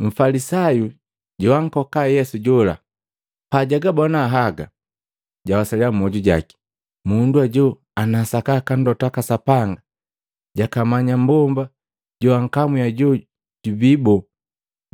Mfalisayu joankoka Yesu jola pajagabona haga, jawasalya mmyoju jaki, “Mundu ajo ana sakaka mlota waka Sapanga, jakamanya mmbomba joankamwi ajo jubii boo,